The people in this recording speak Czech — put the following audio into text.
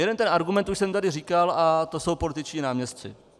Jeden ten argument už jsem tady říkal a to jsou političtí náměstci.